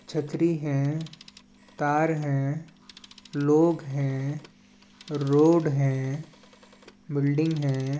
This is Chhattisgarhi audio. छतरी है तार है लोग है रोड हैबिल्डिंग हैं।